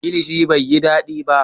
Kilishin bai yi dadi ba